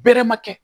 Bere ma kɛ